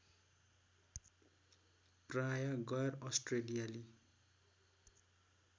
प्राय गैर अस्ट्रेलियाली